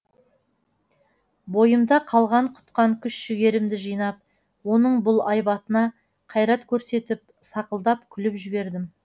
бойымда қалған құтқан күш жігерімді жинап оның бұл айбатына қайрат көрсетіп сақылдап күліп жібердім